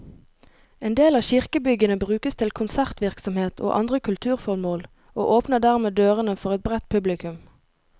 En del av kirkebyggene brukes til konsertvirksomhet og andre kulturformål, og åpner dermed dørene for et bredt publikum.